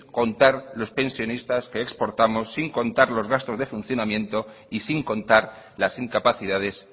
contar los pensionistas que exportamos sin contar los gastos de funcionamiento y sin contar las incapacidades